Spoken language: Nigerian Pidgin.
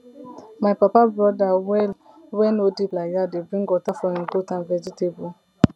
my papa brother well wey no deep like that dey bring water for im goat and vegetable